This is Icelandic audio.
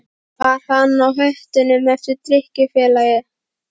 Var hann á höttunum eftir drykkjufélaga?